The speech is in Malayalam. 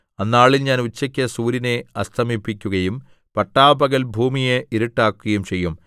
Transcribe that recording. അന്നാളിൽ ഞാൻ ഉച്ചയ്ക്കു സൂര്യനെ അസ്തമിപ്പിക്കുകയും പട്ടാപ്പകൽ ഭൂമിയെ ഇരുട്ടാക്കുകയും ചെയ്യും